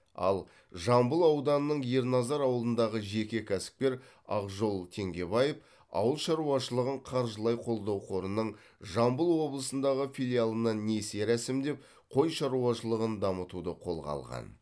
ал жамбыл ауданының ерназар ауылындағы жеке кәсіпкер ақжол теңгебаев ауыл шаруашылығын қаржылай қолдау қорының жамбыл облысындағы филиалынан несие рәсімдеп қой шаруашылығын дамытуды қолға алған